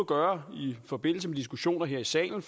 gøre i forbindelse med diskussioner her i salen